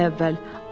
İki ay əvvəl.